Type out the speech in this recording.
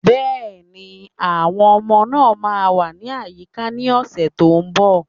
Yes, the children will be around next week